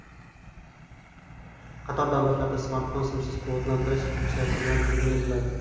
Qator davlatlarda smartfon simsiz quvvatlantirish funksiyasi bilan taqdim etiladi.